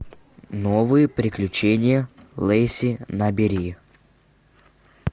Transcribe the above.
новые приключения лесси набери